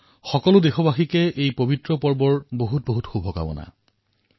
সমূদ দেশবাসীক এই পবিত্ৰ উৎসৱ উপলক্ষে অশেষ শুভকামনা জনাইছোঁ